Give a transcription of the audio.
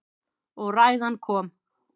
Og ræðan kom.